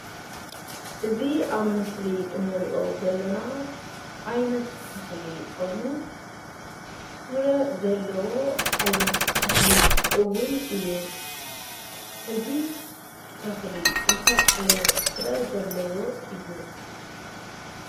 እዚ ኣብ ምስሊ እንሪኦ ዘለና ዓይነት ተኽሊ ኾይኑ ፍረ ዘለዎ ዓይነት ተኽሊ እውን እዩ፡፡ እዚ ተኽሊ እንታይ ዓይነት ፍረ ዘለዎ እዩ?